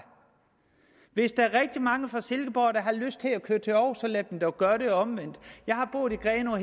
hvis der er rigtig mange fra silkeborg der har lyst til at køre til aarhus så lad dem dog gøre det og omvendt jeg har boet i grenaa